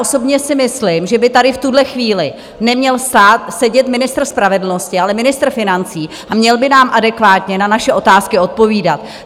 Osobně si myslím, že by tady v tuhle chvíli neměl stát - sedět - ministr spravedlnosti, ale ministr financí a měl by nám adekvátně na naše otázky odpovídat.